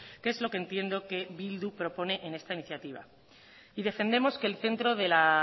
que es lo que entiendo que bildu propone en esta iniciativa y defendemos que el centro de la